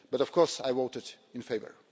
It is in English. But of course I voted in favour.